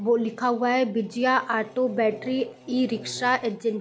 वो लिखा हुआ है Bijaya auto battery e-rickshaw agency --